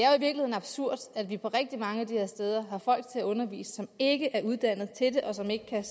absurd at vi på rigtig mange af de her steder har folk til at undervise som ikke er uddannet til det og som ikke kan